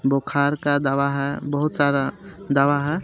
बुखार का दवा है बोहोत सारा दवा है.